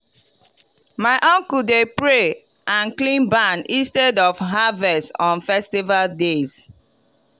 my uncle dey pray and clean barn instead of harvest on festival days.